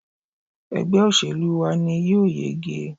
Ẹgbẹ́ òṣèlú wa ni ó yege